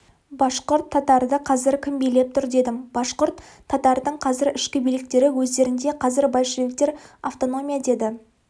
башқұрт татарды қазір кім билеп тұр дедім башқұрт татардың қазір ішкі биліктері өздерінде қазір большевиктер автономия деді